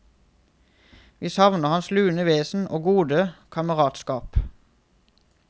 Vi savner hans lune vesen og gode kameratskap.